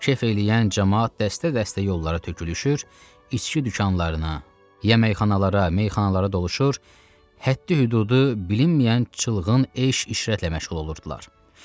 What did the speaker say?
Kef eləyən camaat dəstə-dəstə yollara tökülüşür, içki dükanlarına, yəməyxanalara, meyxanalara doluşur, həddi-hüdudu bilinməyən çılğın eşq-işrətlə məşğul olurdular.